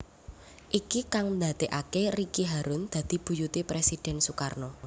Iki kang ndadekaké Ricky harun dadi buyuté Presiden Sukarno